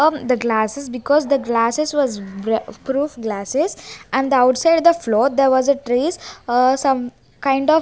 on the glasses because the glasses was wa water proof glasses and the outside the flow there was a trees aa some kind of --